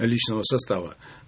личного состава